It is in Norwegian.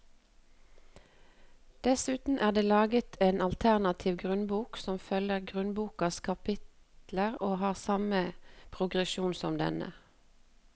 Dessuten er det laget en alternativ grunnbok som følger grunnbokas kapitler og har samme progresjon som denne.